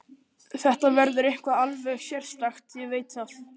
Þetta verður eitthvað alveg sérstakt, ég veit það.